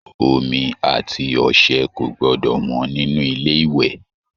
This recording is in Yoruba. Omi àti ọṣẹ kò gbọdọ wọ́n nínú ilé ìwẹ̀